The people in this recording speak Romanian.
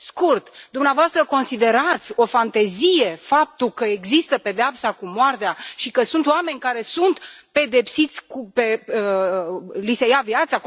Scurt dumneavoastră considerați o fantezie faptul că există pedeapsa cu moartea și că sunt oameni care sunt pedepsiți să li se ia viața?